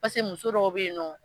Pase muso dɔw bɛ yen nɔ.